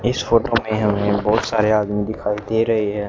इस फोटो मे हमे बहुत सारे आदमी दिखाई दे रहे है।